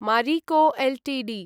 Marico Ltd